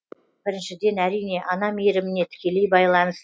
біріншіден әрине ана мейіріміне тікелей